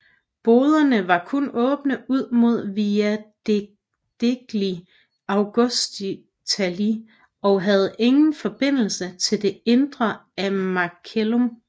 Boderne var kun åbne ud mod Via degli Augustali og havde ingen forbindelse til det indre af Macellum